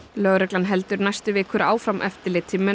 lögreglan heldur næstu vikur áfram eftirliti með